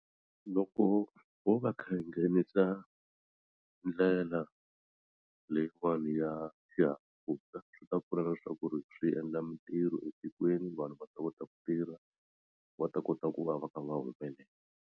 Loko ho va ndlela leyiwani ya xihahampfhuka swi ta pfuna na leswaku ri swi endla mitirho etikweni vanhu va ta kota ku tirha va ta kota ku va va kha va humelela.